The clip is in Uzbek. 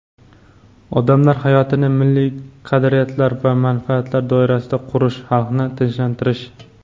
odamlar hayotini milliy qadriyatlar va manfaatlar doirasida qurish, "xalqni tinchlantirish".